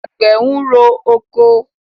Àgbẹ̀ ń rọ oko.